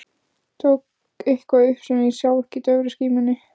Tók eitthvað upp sem ég sá ekki í daufri skímunni.